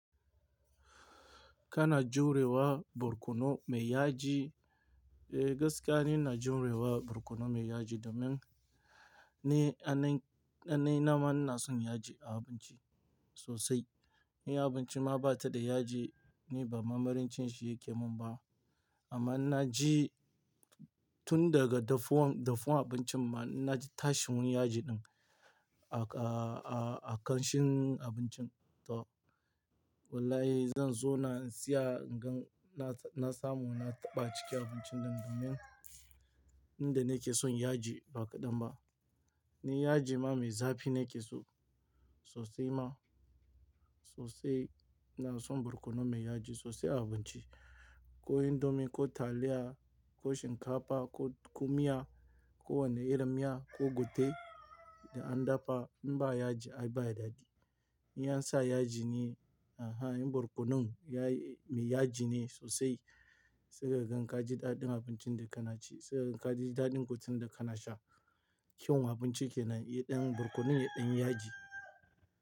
Kana jurewa barkono mai yaji, eh gaskiya ni ina jurewa barkono mai yaji domin ni anan-- kananina ma na son yaji a abinci sosai. In abinci ma ba ta da yaji ni ba mamirin cin shi yake mun ba. Amma na ji tun daga dafuwan, dafuwan abincin ma na ji tashin yin yaji din a ka-- a ƙanshin abincin. To wallahi zan zo na siya in gan na samu na taɓa ciki abincin nan domin ni da nake son yaji ba kaɗan ba. Ni yaji ma mai zafi nake so sosai ma sosai. Ina son barkono mai yaji sosai a abinci. Ko indomi, ko taliya, ko shinkafa, ko, ko miya, kowane irin miya, ko gutue da an dafa in ba yaji ai ba ya dadi. In ya sa yaji ne, a a in barkonon ya yi mai yaji ne sosai sai ka gan ka ji daɗin abincin da kana ci. Sai ka gan ka ji daɗin gutuen da kana sha. Kyau abinci ke nan, inda barkonon ya ɗan yin yaji.